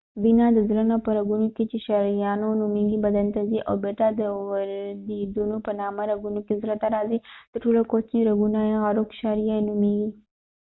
وينه د زړه نه په رګونو کې چې شریانونه نومیږی بدن ته ځی او بیرته د ورديدونو په نامه رګونو کې زړه ته راځی تر ټولو کوچنی رګونه یې عروق شعریه نومېږي